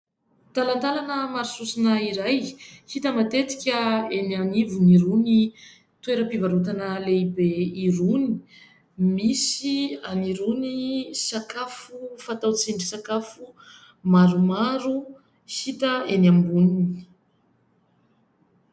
Talantalana maro sosona iray hita matetika eny anivon'irony toeram-pivarotana lehibe irony, misy an'irony sakafo fatao tsindry sakafo maromaro hita eny amboniny.